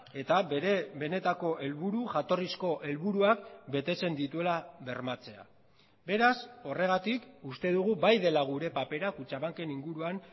eta bere benetako helburu jatorrizko helburuak betetzen dituela bermatzea beraz horregatik uste dugu bai dela gure papera kutxabanken inguruan